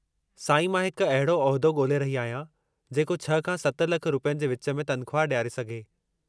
साईं, मां हिक अहिड़ो उहिदो ॻोल्हे रही आहियां जेको 6 खां 7 लख रुपयनि जे विच में तनख़्वाह डि॒यारे सघे।